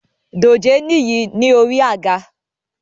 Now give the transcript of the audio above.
Dòjé níyìí ni orí àga